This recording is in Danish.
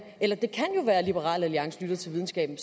eller det kan jo være at liberal alliance lytter til videnskaben